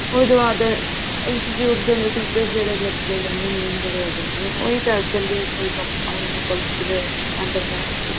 ਉਹਤੋਂ ਬਾਅਦ institute ਦੇ ਅੰਦਰ teacher ਜਿਹੜੇ ਲੱਗੇ ਰਹਿੰਦੇ ਨੇ main ਜਿਹੜੇ ਹੈਗੇ ਨੇ ਉਹੀ ਦੱਸ ਦੇਣਗੇ ਕੋਈ ਉਹਨਾ ਕੋਲ ਅੰਦਰ ਹੈ ਬੱਚੇ